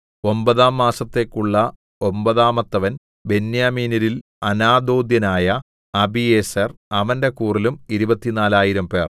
ഒമ്പതാം മാസത്തേക്കുള്ള ഒമ്പതാമത്തവൻ ബെന്യാമീന്യരിൽ അനാഥോഥ്യനായ അബീയേസെർ അവന്റെ കൂറിലും ഇരുപത്തിനാലായിരംപേർ 24000